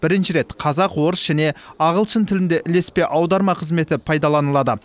бірінші рет қазақ орыс және ағылшын тілінде ілеспе аударма қызметі пайдаланылады